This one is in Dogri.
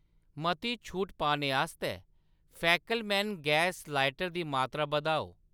मती छूट पाने आस्तै फैकेलमैन गैस लाइटर दी मात्तरा बधाओ